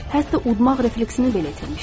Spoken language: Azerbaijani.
Hətta udmaq refleksini belə itirmişdim.